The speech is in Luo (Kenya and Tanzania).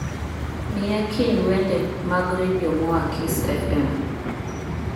miya kind wende mag redio moa kiss f.m.